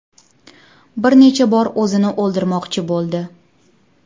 Bir necha bor o‘zini o‘ldirmoqchi bo‘ldi.